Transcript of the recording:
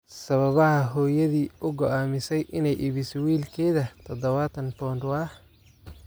Sababaha hooyadii u go'aamisay inay iibiso wiilkeeda dadawatan pond waa.